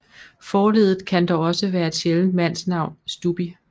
Forledet kan dog også være et sjældent mandsnavn Stubbi